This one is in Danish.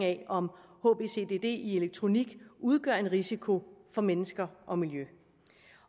af om hbcdd i elektronik udgør en risiko for mennesker og miljø